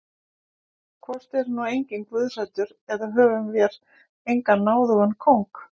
Hvort er nú enginn guðhræddur eða höfum vér engan náðugan kóng?